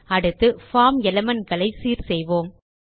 அடுத்து form element களை சீர் செய்வோம்